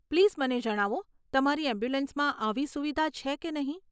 Please મને જણાવો તમારી એમ્બ્યુલન્સમાં આવી સુવિધા છે કે નહીં.